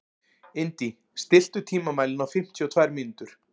Indí, stilltu tímamælinn á fimmtíu og tvær mínútur.